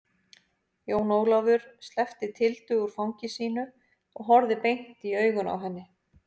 Jón Ólafur sleppti Tildu úr fangi sínu og horfði beint i augun á henni.